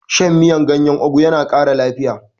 Shan miyan gyanyen ogu yana kara lafiya